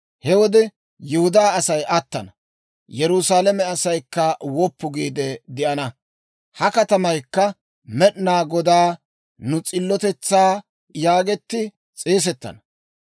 He wode Yihudaa Asay attana; Yerusaalame asaykka woppu giide de'ana; ha katamaykka Med'inaa Godaa, Nu S'illotetsaa yaagetti s'eesettana.